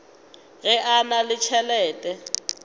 ge a na le tšhelete